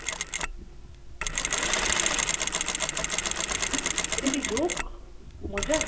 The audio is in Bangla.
এটা কি joke? মজা?